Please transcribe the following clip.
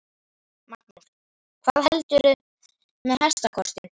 Magnús: Hvað heldurðu með hestakostinn?